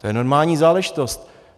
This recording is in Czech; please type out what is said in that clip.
To je normální záležitost.